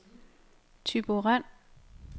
Thyborøn